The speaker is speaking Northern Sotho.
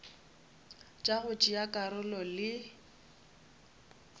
tša go tšea karolo le